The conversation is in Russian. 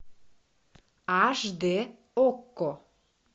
аш д окко